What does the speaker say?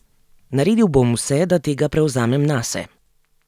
Naredil bom vse, da tega prevzamem nase.